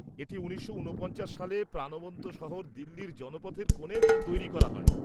এটি উনিশশো উনপঞ্চাশ সালে প্রাণবন্ত শহর দিল্লির জনপথের কোণে তৈরি করা হয়।